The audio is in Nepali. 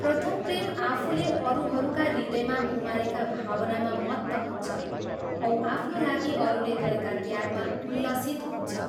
प्रथम प्रेम आफूले अरूहरूका हृदयमा उमारेका भावनामा मत्त हुन्छ औ आफ्नो लागि अरूले गरेका त्यागमा उल्लसित हुन्छ।